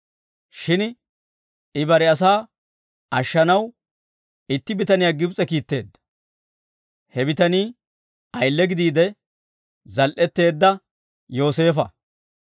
Shin I bare asaa ashshanaw, itti bitaniyaa Gibs'e kiitteedda; he bitanii ayille gidiide zal"eteedda Yooseefa.